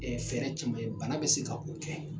Ɛɛ fɛɛrɛ jumɛn bana be se ka ko kɛ?